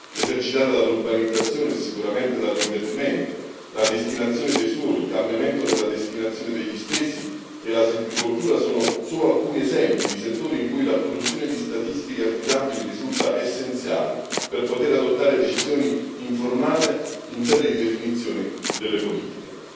esercitata dall'urbanizzazione e sicuramente dall'inverdimento, la destinazione dei suoli, il cambiamento della destinazione degli stessi e la silvicoltura sono solo alcuni esempi di settori in cui la produzione di statistiche affidabili risulta essenziale per poter adottare decisioni informate in sede di definizione delle politiche.